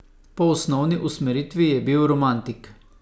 Po osnovni usmeritvi je bil romantik.